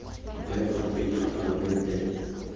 bewa fa pele ga palamente